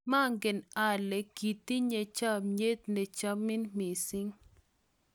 maangen ale kiitinye chomyet ne chomin mising